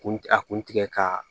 Kun a kun tigɛ ka